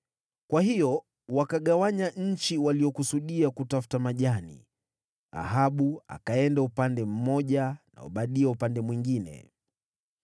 Kwa hiyo wakagawanya nchi waliyokusudia kutafuta majani, Ahabu akaenda upande mmoja na Obadia upande mwingine.